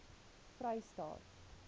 vrystaat